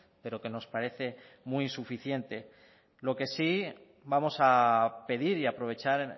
pero que nos parece muy insuficiente lo que sí vamos a pedir y a aprovechar